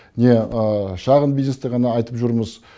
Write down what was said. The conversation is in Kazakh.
не шағын бизнесті ғана айтып жүрміз